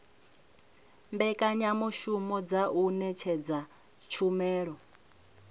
mbekanyamushumo dza u ṅetshedza tshumelo